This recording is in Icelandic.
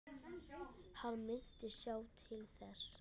Hann myndi sjá til þess.